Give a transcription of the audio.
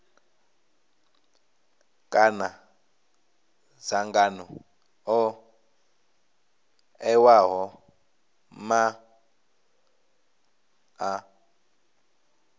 kana dzangano ḽo ṋewaho maanḓa